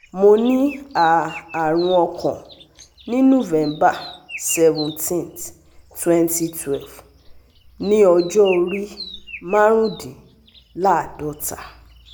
Mo ni a arun okan ni November seventeenth twenty twelve ni ọjọ ori marundinlaadota